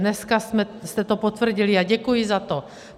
Dneska jste to potvrdili a děkuji za to.